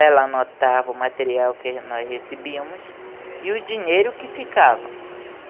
Ela anotava o material que nós recebíamos e o dinheiro que ficava.